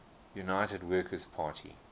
united workers party